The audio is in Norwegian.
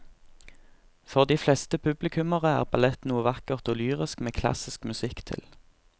For de fleste publikummere er ballett noe vakkert og lyrisk med klassisk musikk til.